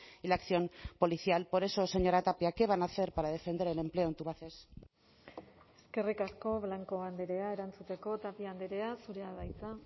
y la acción policial por eso señora tapia qué van a hacer para defender el empleo en tubacex eskerrik asko blanco andrea erantzuteko tapia andrea zurea da hitza